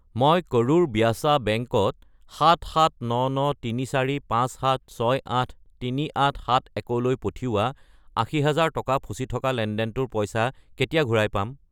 মই কৰুৰ ব্যাসা বেংক ত 77993457683871 লৈ পঠিওৱা 80000 টকাৰ ফচি থকা লেনদেনটোৰ পইচা কেতিয়া ঘূৰাই পাম?